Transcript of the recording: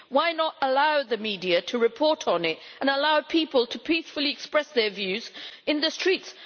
Why not allow the media to report on it and allow people to peacefully express their views in the streets?